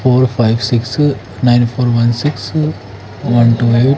और five six nine four one six one twelve --